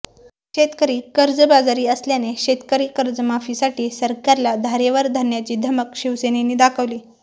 शेतकरी कर्जबाजारी असल्याने शेतकरी कर्जमाफीसाठी सरकारला धारेवर धरण्याची धमक शिवसेनेनी दाखवली